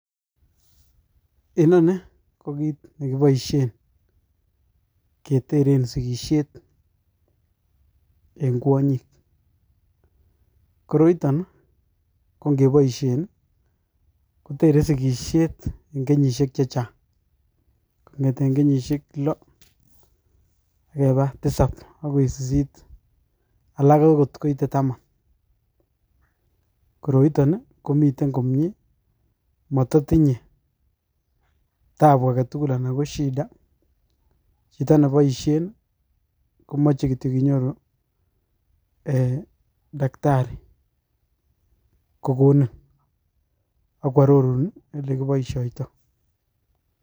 Enoni kokit nekiboisie keteren sikisiet eng kwanyik Koroiton[i] kongeboisien[i] kotere sikisiet eng kenyisiek chechang kongeten kenyisiek lo akeba tisap qkoi sisit alak agot koite taman koroiton komiten komie matatinye taabu agetugul anan koshida chito neboisien komache kityo kinyoru eeh daktari kokonin akwarorun olekiboisioitoi.